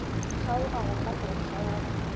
kgaoga go ka no kgaoga